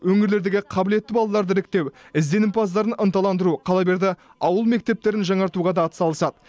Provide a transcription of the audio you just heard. өңірлердегі қабілетті балаларды іріктеу ізденімпаздарын ынталандыру қала берді ауыл мектептерін жаңартуға да атсалысады